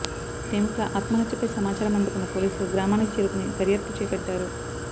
ప్రేమికుల ఆత్మహత్యపై సమాచారం అందుకున్న పోలీసులు గ్రామానికి చేరుకుని దర్యాప్తు చేపట్టారు